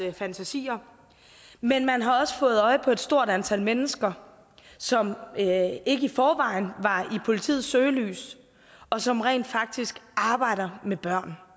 fantasier men man har også fået øje på et stort antal mennesker som ikke i forvejen var i politiets søgelys og som rent faktisk arbejdede med børn